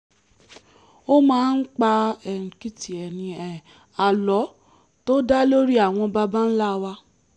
ó máa ń pa àlọ́ tó dá lórí àwọn baba ńlá wa